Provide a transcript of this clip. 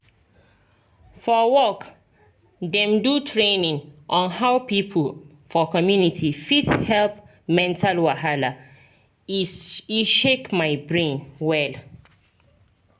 for work dem do training on how people for community fit help mental wahala e shake my brain well.